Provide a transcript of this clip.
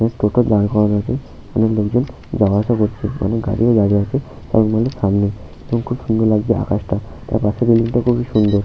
একটা টোটো দাঁড় করানো আছে অনেক লোকজন যাওয়া আসা করছে। অনেক গাড়িও দাঁড়িয়ে আছে মল -এর সামনে অনেক সুন্দর লাগছে আকাশটা পাশের বিল্ডিং -টা খুবই সুন্দর।